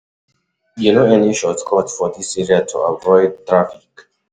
dealing with traffic or delays fit make pesin e make pesin e no go reach im destination on time.